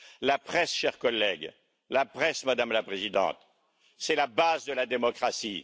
La presse, chers collègues, la presse, Madame la Présidente, c'est la base de la démocratie.